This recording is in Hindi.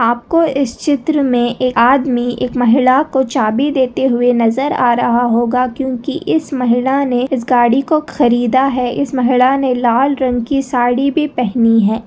आपको इस चित्र में एक आदमी एक महिला को चाबी देते हुए नजर आ रहा होगा क्योंकि इस महिला ने इस गाड़ी को खरीदा है इस महिला ने लाल रंग की साड़ी भी पहनी है।